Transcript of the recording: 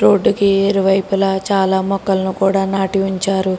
రోడ్డుకి ఇరువైపులా చాలా మొక్కలను కూడా నాటి ఉంచారు.